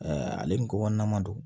ale ni ko kɔnɔna don